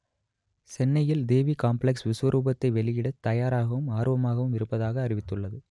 சென்னையில் தேவி காம்ப்ளக்ஸ் விஸ்வரூபத்தை வெளியிட‌த் தயாராகவும் ஆர்வமாகவும் இருப்பதாக அறிவித்துள்ளது